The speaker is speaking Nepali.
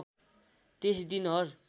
त्यस दिन हर